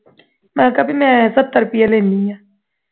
ਮੈਂ ਕਿਹਾ ਕਿ ਬਈ ਮੈਂ ਸੱਤਰ ਰੁਪਈਏ ਲੈਨੀ ਹਾਂ